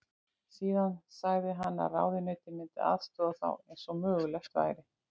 Síðan sagði hann að ráðuneytið myndi aðstoða þá eins og mögulegt væri.